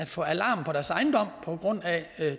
få alarm på deres ejendom på grund af